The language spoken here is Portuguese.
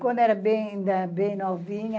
Quando eu era bem bem novinha,